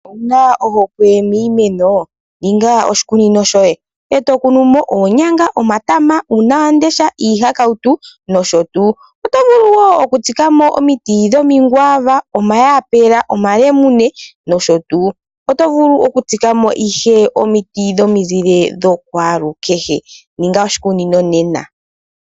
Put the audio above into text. Ouna ohokwe miimeno ninga oshikunino shoye ee tokunu mo oonyanga, omatama, uunawamundesha, iihakautu nosho tuu oto vulu okutsikamo omiti dhomakwaava, omahapela, omalemune nosho tuu. Otovulu okutsikamo omiti dhomizile dhokwalukehe. Ninga oshikunino nena.